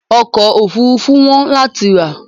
ọ̀kọ̀ ofúrufú wọ́n lati rà